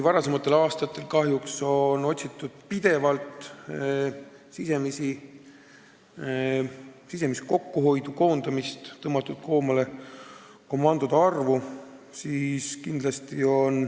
Varasematel aastatel on kahjuks otsitud pidevalt sisemise kokkuhoiu võimalusi: on olnud koondamist, vähendatud komandode arvu.